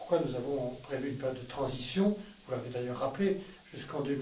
Voilà pourquoi nous avons prévu une période de transition vous l'avez d'ailleurs rappelé jusqu'en